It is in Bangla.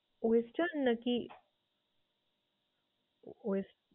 Western নাকি wes~?